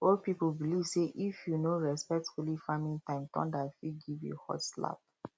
old people believe say if you no respect holy farming time thunder fit give you hot slap